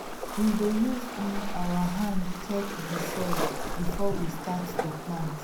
we dey use um our hand hand check the soil before we start to plant